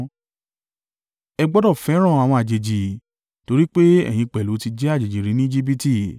Ẹ gbọdọ̀ fẹ́ràn àwọn àjèjì, torí pé ẹ̀yin pẹ̀lú ti jẹ́ àjèjì rí ní Ejibiti.